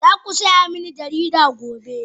Za ku saya mini jarida gobe